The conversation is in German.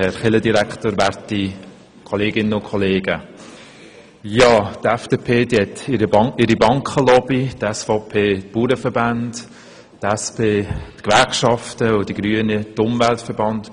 Die FDP hat ihre Bankenlobby, die SVP hat die Bauernverbände, die SP die Gewerkschaften und die Grünen die Umweltverbände.